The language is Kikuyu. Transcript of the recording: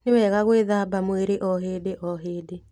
Nĩwega gwĩthambaga mwĩrĩo hĩndĩo hĩndĩ.